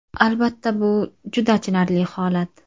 Albatta bu juda achinarli holat.